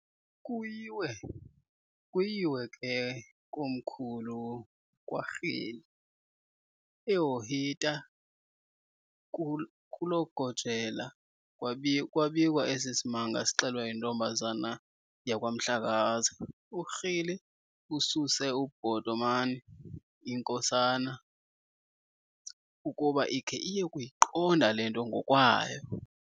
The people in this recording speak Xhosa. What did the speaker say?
Kuyiwe ke komkhulu kwaRhili, eHohita, kuloGojela kwabikwa esi simanga sixelwa yintombazana yakwaMhlakaza. URhili ususe uBhotomani, inkosana, ukuba ikhe iye kuyiqonda le nto ngokwayo.